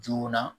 Joona